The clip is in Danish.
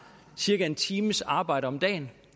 cirka en times arbejde om dagen